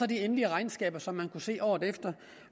de endelige regnskaber som man kan se året efter